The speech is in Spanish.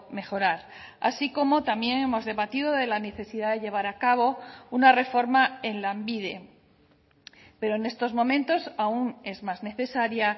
mejorar así como también hemos debatido de la necesidad de llevar a cabo una reforma en lanbide pero en estos momentos aún es más necesaria